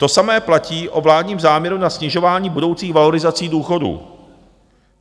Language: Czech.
To samé platí o vládním záměru na snižování budoucích valorizací důchodů.